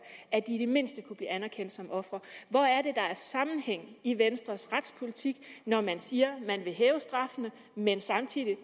at de i det mindste kunne blive anerkendt som ofre hvor er det der er sammenhæng i venstres retspolitik når man siger man vil hæve straffene men samtidig